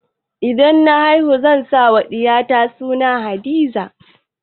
Idan na haihu zan sa wa ɗiya ta suna Hadiza